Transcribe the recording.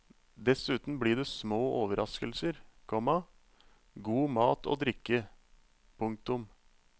Dessuten blir det små overraskelser, komma god mat og drikke. punktum